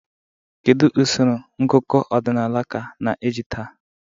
Kedu usoro ngụkọ ọdịnala ka na-eji taa?